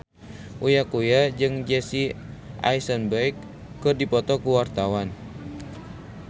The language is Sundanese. Uya Kuya jeung Jesse Eisenberg keur dipoto ku wartawan